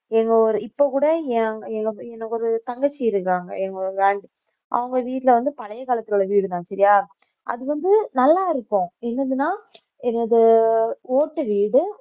எங்க ஊரு இப்ப கூட எ~ எ~ எனக்கு ஒரு தங்கச்சி இருக்காங்க அவங்க வீட்ல வந்து பழைய காலத்தோட வீடுதான் சரியா அது வந்து நல்லா இருக்கும் என்னதுன்னா என்னது ஓட்டு வீடு